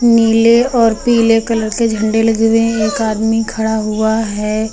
नीले और पीले कलर के झंडे लगे हुए हैं एक आदमी खड़ा हुआ है।